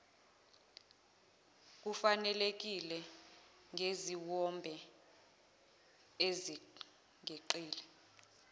kufanelekile ngeziwombe ezingeqile